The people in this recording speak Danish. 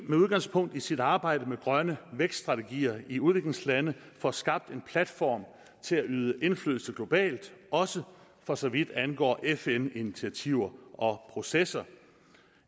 med udgangspunkt i sit arbejde med grønne vækststrategier i udviklingslandene får skabt en platform til at yde indflydelse globalt også for så vidt angår fn initiativer og processer